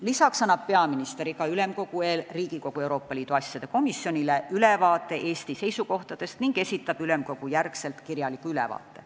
Lisaks annab peaminister enne Ülemkogu kogunemisi Riigikogu Euroopa Liidu asjade komisjonile ülevaate Eesti seisukohtadest ning esitab pärast Ülemkogu istungeid kirjaliku ülevaate.